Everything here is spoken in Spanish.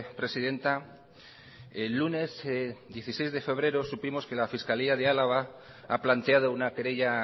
presidenta el lunes dieciséis de febrero supimos que la fiscalía de álava ha planteado una querella